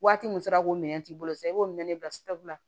Waati mun sera k'o minɛn t'i bolo sisan i b'o minɛn bila la